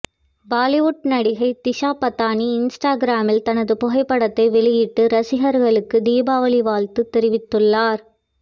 பாலிவுட் நடிகை திஷா பதானி இன்ஸ்டாகிராமில் தனது புகைப்படத்தை வெளியிட்டு ரசிகர்களுக்கு தீபாவளி வாழ்த்து தெரிவித்துள்ளார்